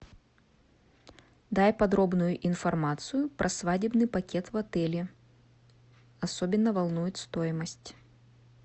дай подробную информацию про свадебный пакет в отеле особенно волнует стоимость